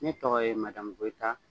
Ne tɔgɔ ye goyita